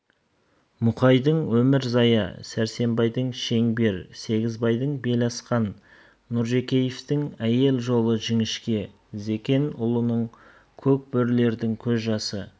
мұқайдың өмірзая сәрсенбайдың шеңбер сегізбайдың беласқан нұржекеевтің әйел жолы жіңішке зекенұлының көк бөрілердің көз жасы